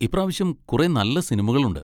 ഇപ്രാവശ്യം കുറെ നല്ല സിനിമകളുണ്ട്.